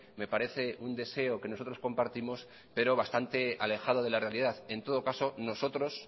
me parece un deseo que nosotros compartimos pero bastante alejado de la realidad en todo caso nosotros